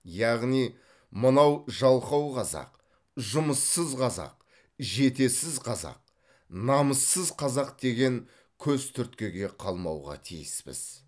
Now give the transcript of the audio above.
яғни мынау жалқау қазақ жұмыссыз қазақ жетесіз қазақ намыссыз қазақ деген көзтүрткіге қалмауға тиіспіз